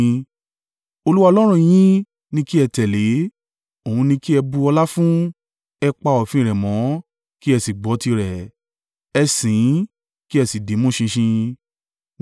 Olúwa Ọlọ́run yín ni kí ẹ tẹ̀lé, Òun ni kí ẹ bu ọlá fún, ẹ pa òfin rẹ̀ mọ́ kí ẹ sì gbọ́ tirẹ̀, ẹ sìn ín, kí ẹ sì dìímú ṣinṣin.